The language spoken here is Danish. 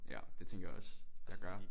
Ja det tænker jeg også jeg gør